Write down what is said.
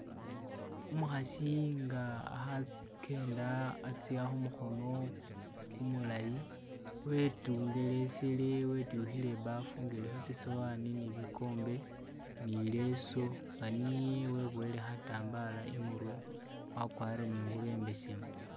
Umukhasi nga akhakenda atsya khumukhono kumulayi wetungelesele wetukhile ibafu nga ilikho tsisawani nibikombe nileso nganiye webuwele khatambala imurwe wakwarire ningubo imbesemu